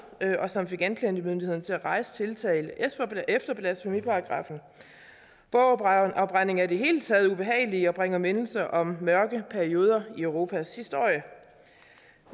og som fik anklagemyndigheden til at rejse tiltale efter blasfemiparagraffen bogafbrænding er i det hele taget ubehageligt og bringer mindelser om mørke perioder i europas historie